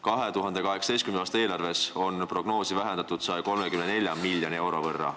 2018. aasta eelarves on prognoosi korrigeeritud 134 miljoni euro võrra.